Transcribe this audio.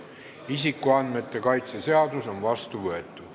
Isikuandmete kaitse seadus on vastu võetud.